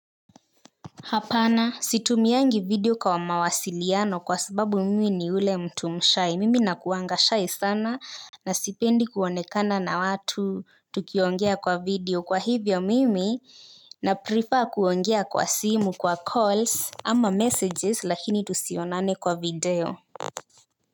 Hapana situmiangi video kwa mawasiliano kwa sababu mimi ni ule mtu mshy mimi nakuanga shy sana na sipendi kuonekana na watu tukiongea kwa video kwa hivyo mimi na prefer kuongea kwa simu kwa calls ama messages lakini tusionane kwa video.